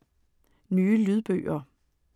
Nye lydbøger